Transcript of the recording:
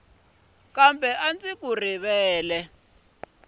kambe a ndzi ku rivali